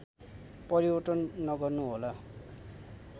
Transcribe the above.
परिवर्तन नगर्नुहोला